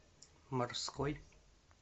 морской